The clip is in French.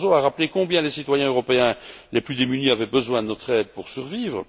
Barroso a rappelé combien les citoyens européens les plus démunis avaient besoin de notre aide pour survivre.